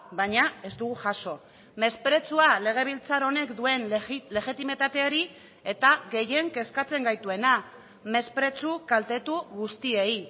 baina ez dugu jaso mespretxua legebiltzar honek duen legitimitateari eta gehien kezkatzen gaituena mespretxu kaltetu guztiei